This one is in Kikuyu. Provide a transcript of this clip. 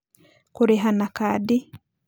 Kũrĩha na Kadi: